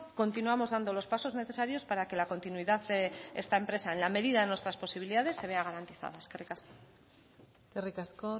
continuamos dando los pasos necesarios para que la continuidad de esta empresa en la medida de nuestras posibilidades se vea garantizada eskerrik asko eskerrik asko